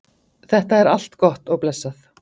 þetta er allt gott og blessað